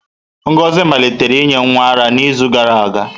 Ngozi malitere inye nwa ara n'izu gara aga.